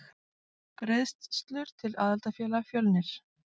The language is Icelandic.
Greiðslur til aðildarfélaga Fjölnir